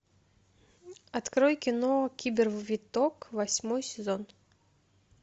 открой кино кибер виток восьмой сезон